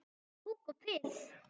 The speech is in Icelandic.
Kúk og piss.